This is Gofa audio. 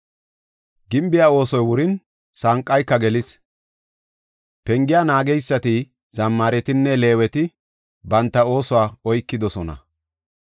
Gimbiya oosoy wurin, sanqayka gelis; pengiya naageysati, zammaretinne Leeweti banta oosuwa oykidosona.